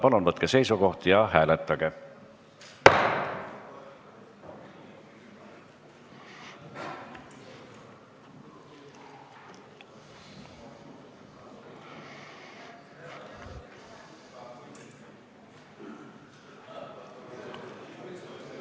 Palun võtke seisukoht ja hääletage!